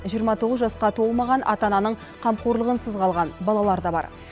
жиырма тоғыз жасқа толмаған ата ананың қамқорлығынсыз қалған балалар да бар